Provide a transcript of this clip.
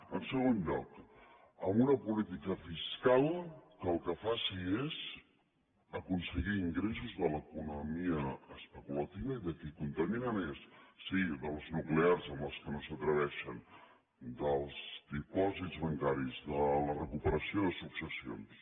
en segon lloc amb una política fiscal que el que faci és aconseguir ingressos de l’economia especulativa i de qui contamina més sí de les nuclears amb les quals no s’atreveixen dels dipòsits bancaris de la recuperació de successions